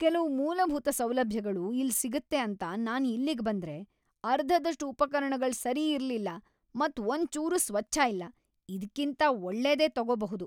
"""ಕೆಲವ್ ಮೂಲಭೂತ ಸೌಲಭ್ಯಗಳು ಇಲ್ ಸಿಗುತ್ತೆ ಅಂತ ನಾನ್ ಇಲ್ಲಿಗೆ ಬಂದ್ರೆ ಅರ್ಧದಷ್ಟು ಉಪಕರಣಗಳ್ ಸರಿ ಇರಲ್ಲಿಲ್ಲ ಮತ್ ಒಂದ್ ಚೂರು ಸ್ವಚ್ಛ ಇಲ್ಲ. ಇದ್ಕ್ಕಿಂತ ಒಳ್ಳೇದೇ ತೋಗೊಬಹುದ್."""